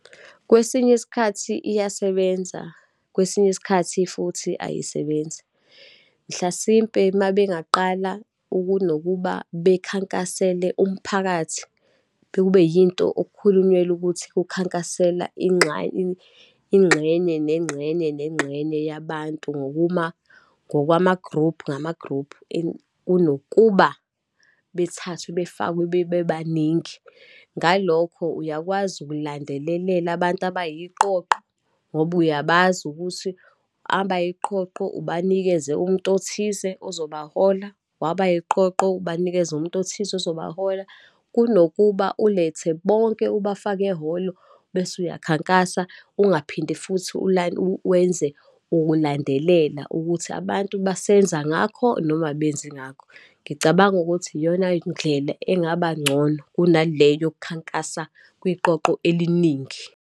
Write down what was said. Kwesinye isikhathi iyasebenza, kwesinye isikhathi futhi ayisebenzi. Mhlasimpe uma bengaqala ukunokuba bekhankasele umphakathi. Kekube yinto okukhulunyelwa ukuthi kukhankaselwa ingxenye, nengxenye, nengxenye yabantu, ngokuma ngokwamagruphu, ngamagruphu kunokuba bethathwe befakwe, bebebaningi. Ngalokho uyakwazi ukulandelelela abantu abayiqoqo, ngoba uyabazi ukuthi, abayiqoqo ubanikeze umuntu othize ozobahola, wabayiqoqo ubanikeze umuntu othize ozobahola, kunokuba ulethe bonke, ubafake ehholo bese uyakhankasa, ungaphinde futhi wenze ukulandelela ukuthi abantu basenza ngakho, noma abenzi ngakho. Ngicabanga ukuthi iyona ndlela engabangcono kunale yokukhankasa kwiqoqo eliningi.